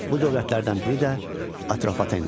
Bu dövlətlərdən biri də Atropatena idi.